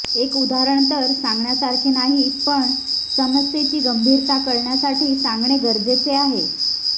एक उदाहरण तर सांगण्यासारखे नाही पण समस्येची गंभीरता कळण्यासाठी सांगणे गरजेचे आहे